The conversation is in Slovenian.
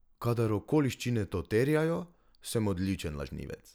Kadar okoliščine to terjajo, sem odličen lažnivec.